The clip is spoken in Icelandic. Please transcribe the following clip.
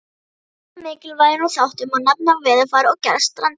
Af öðrum mikilvægum þáttum má nefna veðurfar og gerð strandar.